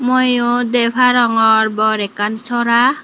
mui yot dey parongor bor ekkan sora.